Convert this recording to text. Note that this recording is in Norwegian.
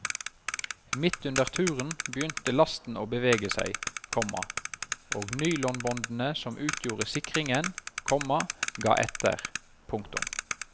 Midt under turen begynte lasten å bevege seg, komma og nylonbåndene som utgjorde sikringen, komma ga etter. punktum